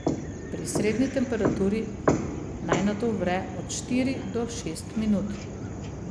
Pri srednji temperaturi naj nato vre od štiri do šest minut.